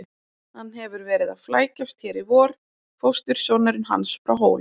Hann hefur verið að flækjast hér í vor, fóstursonurinn hans frá Hólum.